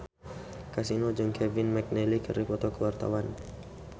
Kasino jeung Kevin McNally keur dipoto ku wartawan